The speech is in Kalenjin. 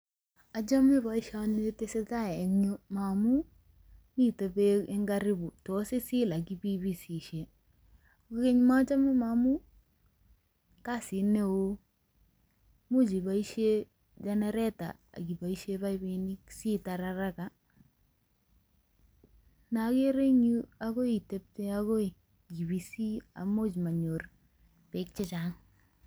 Ochome boisioni tesetai en kireyu amun miten beek en karibu tos isil ak ibeibisishe. Kogeny mochome ngamun kasit neo, imuch iboisien genetor ak iboishen baibunik asitar haraka. Nee ogere en yu ko agoi itepte agoi ibisi amun monyor beek che chang.